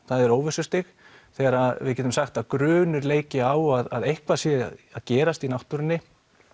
það er óvissustig þegar við getum sagt að grunur leiki á að eitthvað sé að gerast í náttúrunni